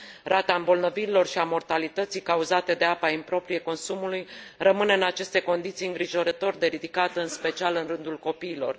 Rata îmbolnăvirilor și a mortalității cauzate de apa improprie consumului rămâne, în aceste condiții, îngrijorător de ridicată, în special în rândul copiilor.